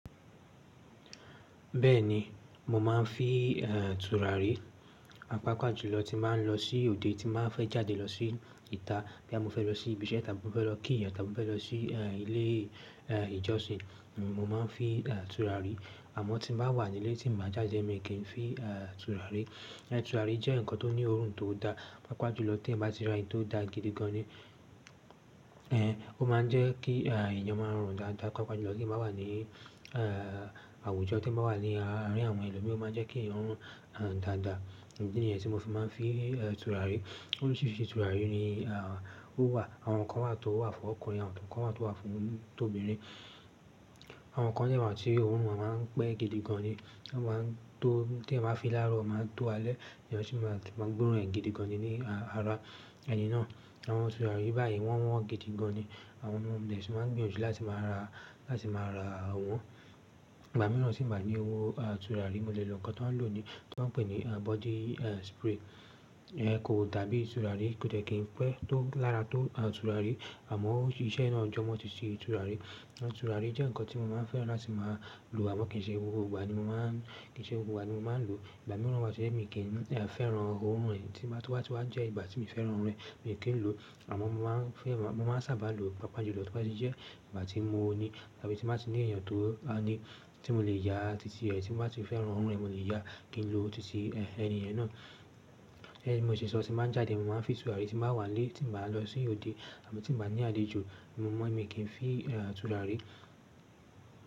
Bẹ́ẹ̀ni, mo máa ń fí, ẹ̀n, tùràrí, àpapàjùlọ tí á ń lọ sí òde, tí má fẹ́ jáde lọ sí ìta. Bí a mo fẹ́ lọ sí ibi iṣẹ́, tàbí mo fẹ́ lọ kí yàn, tàbí mo fẹ́ lọ sí, ẹǹ, ilé, ẹǹ, ìjọsìn, mo máa ń fi, ẹǹ, tùràrí. Àmọ́ tí m bá wà nílé, tí m bá jáde, èmi kìí fín, ẹǹ, tùràrí. Ẹǹ tùràrí jẹ́ nǹkan tó ní òórùn tó da, pàápàá jùlọ t'eèyànbá ti ra èyí tó da gidi gan ni. Ẹǹ, ó máa ń jẹ́ kí, ẹǹ, èèyàn máa rùn dáadáa, pàápàá jùlọ t'eèyàn bá wà ní, ẹǹ, àwùjọ, t'eèyàn bá wà ní àárín àwọn ẹlòmíì, ó máa jẹ́ kí èèyàn rùn, ẹǹ, dáadáa. Ìdí nìyẹn tí mo fi máa ń fi, ẹǹ, tùràrí. Oríṣìíríṣìí tùràrí ni, ah, ó wà. Àwọn kan wà tó wà fún ọkùnrin, àwọn kan wà tó wà fún t'obìnrin. Àwọn kan dẹ̀ wà tí òórùn wọn máa ń pẹ́ gidi gan ni. Wọ́n máa ń tó t'èèyàn báa fín in láàrọ̀, máa tó alẹ́, èèyàn sì máa tún máa gbóòórùn ẹ̀ gidi gan ni ní àárọ̀ ẹni náà. Àwọn tùràrí báyìí wọ́n wọ́n gidi gan ni. Àwọn náà ni ẹṣù máa ń gbìyànjú láti máa ra, láti máa rà à wọ́n. Ìgbà mìíràn tí m̀ bá ní owó, ah, tùràrí. Mo lè lo nǹkan t'ọ́n ń lò ni, t'ọ́n ń pè ní, ẹǹ, body, ẹǹ, spray. Ẹǹ, kò dàbíi tùràrí, kò dẹ̀ kí ń pẹ́ tó lára tó, ẹǹ, tùràrí. Àmọ́ ó ṣiṣẹ́ náà jọmọ ti si tùràrí. Tùràrí jẹ́ nǹkan tí mo máa ń fẹ́ràn láti máa lò, àmọ́ kì í ṣe gbogbo ìgbà ni mo máa ń-- kì í ṣe gbogbo ìgbà ni mo máa ń lò. Ìgbà mìíràn wà tó jẹ́ mi ì kì ń, ẹǹ, fẹ́ràn òórùn ẹ́ tí màá tó wá, tí wá jẹ́ ìgbà tí mi ì fẹ́ràn ẹ̀, èmi kì í lò. Àmọ́ mo máa ń fẹ́ rà á, mo máa ń sáábà lò pàápàá jùlọ tóbá ti jẹ́ ìgbà tí mo ní tàbí tí n bá ti ní èèyàn tó, ah, ní, tí mo lè yá tìtì ẹ́, tí n bá ti fẹ́ràn òórùn ẹ̀, mo lè yá kí n lò tìtì, ẹǹ, ẹni yẹn náà. Gẹ́gẹ́ bí mo ṣe sọ, tí n bá ń jáde, mo máa ń fín tùràrí, tí n bá wà nílé, tí ǹ bá lọ sí òde àbí tí ǹ bá ní àlejò, mo mọ́ mí kìí n fí, ẹǹ, tùràrí.